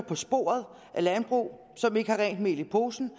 på sporet af landbrug som ikke har rent mel i posen